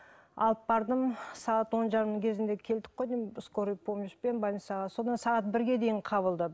алып бардым сағат он жарым кезінде келдік қой деймін скорый помощьпен больницаға содан сағат бірге дейін қабылдады